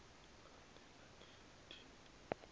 angena ehlathi ni